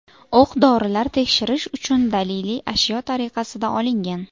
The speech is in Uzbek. O‘q-dorilar tekshirish uchun daliliy ashyo tariqasida olingan.